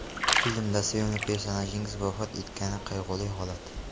Filmda sevimli personajingiz vafot etgani qayg‘uli holat.